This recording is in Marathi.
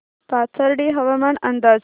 पाथर्डी हवामान अंदाज